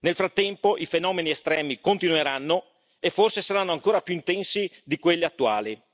Nel frattempo i fenomeni estremi continueranno e forse saranno ancora più intensi di quelli attuali.